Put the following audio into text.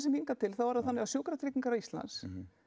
hingað til er það þannig að sjúkratryggingar Íslands